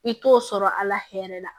I t'o sɔrɔ a la hɛrɛ la